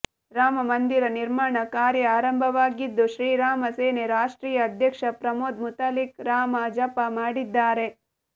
ರಾಮಮಂದಿರ ನಿರ್ಮಾಣ ಕಾರ್ಯ ಆರಂಭವಾಗಿದ್ದು ಶ್ರೀರಾಮ ಸೇನೆ ರಾಷ್ಟ್ರೀಯ ಅಧ್ಯಕ್ಷ ಪ್ರಮೋದ್ ಮುತಾಲಿಕ್ ರಾಮ ಜಪ ಮಾಡಿದ್ದಾರೆ